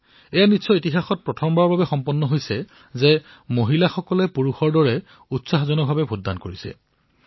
বোধহয় এয়া ইতিহাসত প্ৰথম বাৰলৈ হৈছে যে মহিলাসকলে পুৰুষসকলৰ দৰেই উৎসাহেৰে ভোটদান কৰিছে